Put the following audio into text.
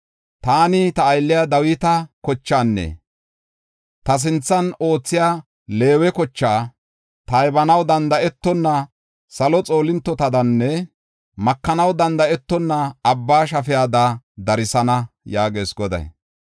Taani ta aylliya Dawita kochaanne ta sinthan oothiya Leewe kocha taybanaw danda7etonna salo xoolintotadanne makanaw danda7etonna abba shafiyada darsana” yaagees Goday.